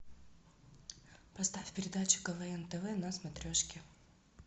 поставь передачу квн тв на смотрешке